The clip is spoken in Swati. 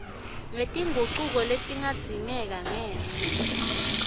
ngetingucuko letingadzingeka ngenca